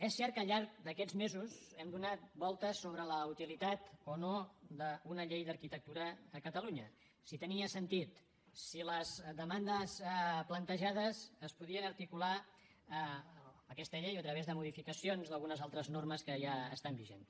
és cert que al llarg d’aquests mesos hem donat voltes sobre la utilitat o no d’una llei d’arquitectura a catalunya si tenia sentit si les demandes plantejades es podien articular amb aquesta llei o a través de modificacions d’algunes altres normes que ja estan vigents